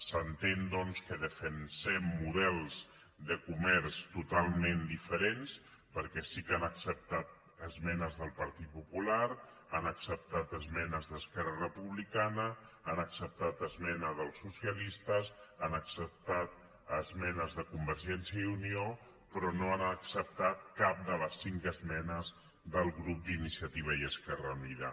s’entén doncs que defensem models de comerç totalment diferents perquè sí que han acceptat esmenes del partit popular han acceptat esmenes d’esquerra republicana han acceptat esmena dels socialistes han acceptat esmenes de convergència i unió però no han acceptat cap de les cinc esmenes del grup d’iniciativa i esquerra unida